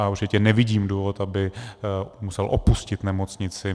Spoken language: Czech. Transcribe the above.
A určitě nevidím důvod, aby musel opustit nemocnici.